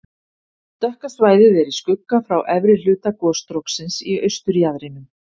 Dökka svæðið er í skugga frá efri hluta gosstróksins í austurjaðrinum.